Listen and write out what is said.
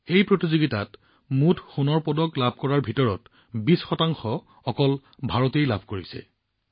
এই প্ৰতিযোগিতাত মুঠ সোণৰ পদক লাভ কৰাৰ ভিতৰত ২০ অকল ভাৰতৰ নামত আহিছে